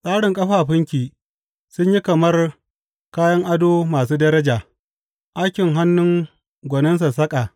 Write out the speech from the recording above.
Tsarin ƙafafunki sun yi kamar kayan ado masu daraja, aikin hannun gwanin sassaƙa.